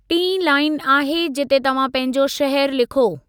टीं लाइन आहे जिते तव्हां पंहिंजो शहर लिखो।